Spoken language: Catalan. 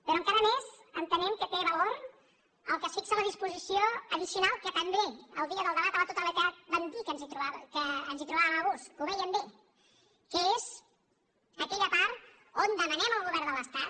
però encara més entenem que té valor el que es fixa en la disposició addicional que també el dia del debat a la totalitat vam dir que ens hi trobàvem a gust que ho vèiem bé que és aquella part on demanem al govern de l’estat